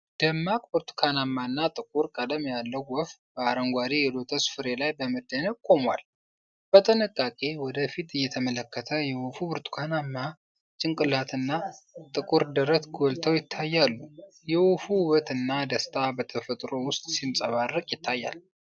ደማቅ ብርቱካናማና ጥቁር ቀለም ያለው ወፍ በአረንጓዴ የሎተስ ፍሬ ላይ በመደነቅ ቆሟል። በጥንቃቄ ወደ ፊት እየተመለከተ፣ የወፉ ብርቱካናማ ጭንቅላትና ጥቁር ደረት ጎልተው ይታያሉ። የወፉ ውበትና ደስታ በተፈጥሮ ውስጥ ሲንጸባረቅ ይታያል።